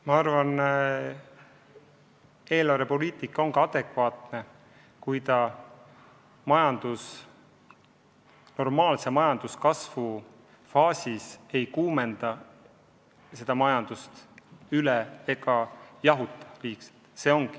Ma arvan, et eelarvepoliitika ongi adekvaatne, kui normaalse majanduskasvu faasis ei kuumendata majandust üle ega jahutata.